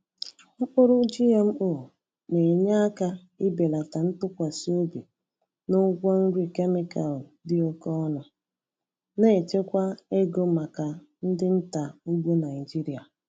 Mkpụrụ GMO na-enye aka ibelata ntụkwasị obi n’ụgwọ nri kemịkal dị oke ọnụ, na-echekwa ego maka ndị nta ugbo Naịjịrịa.